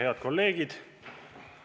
Head kolleegid!